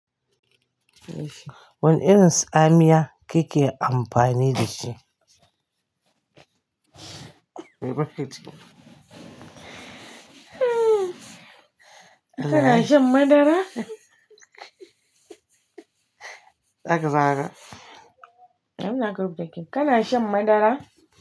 Wana irin tsamiya kake amfani da shi? Kina shan madara? Daga zagawa ina gab da ke. Kana shan madara?